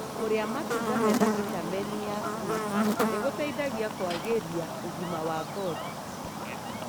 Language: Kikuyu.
Kũria matunda mena vitamini ya c nĩgũteithagia kũagĩria ũgima wa ngothi.